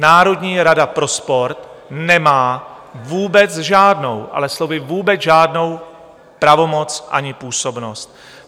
Národní rada pro sport nemá vůbec žádnou, ale slovy vůbec žádnou pravomoc ani působnost.